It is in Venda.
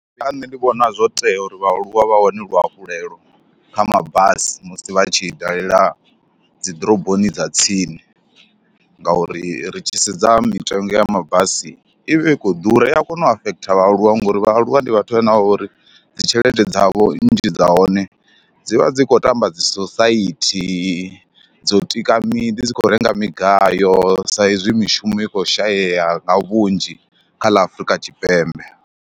Kha nṋe ndi vhona zwo tea uri vhaaluwa vha wane luhafhulelo kha mabasi musi vha tshi dalela dzi ḓoroboni dza tsini ngauri ri tshi sedza mitengo ya mabasi i vha i khou ḓura, i ya kona u afekhotha vhaaluwa ngauri vhaaluwa ndi vhathu vhane vha vha uri dzi tshelede dzavho nnzhi dza hone dzi vha dzi khou tamba dzi sosaithi, dzo tika miḓi, dzi khou renga migayo sa izwi mishumo i khou shayeya nga vhunzhi kha ḽa Afrika Tshipembe.